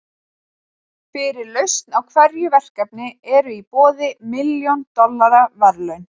Fyrir lausn á hverju verkefni eru í boði milljón dollara verðlaun.